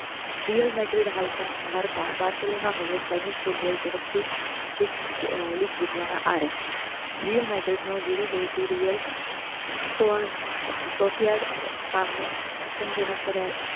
dear મેટ્રેટ હાલતા હારતા બારસોલોના હવે સ્પેનિશ ફૂટબોલ તરફ થી લીક જીતવાના આરે રીયલ બેટરેટ નો જીરો બેટરીઅલ સોસીયાડ સામે આચાર્ય જનક પરા